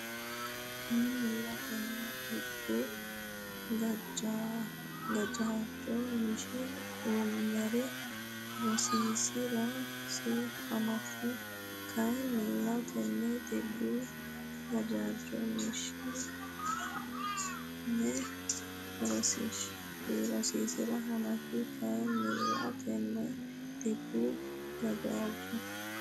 Kayinnilla tenne dhibbu gajaajjo mishe hune rosiisi’rasi hanafi Kayinnilla tenne dhibbu gajaajjo mishe hune rosiisi’rasi hanafi Kayinnilla tenne dhibbu gajaajjo.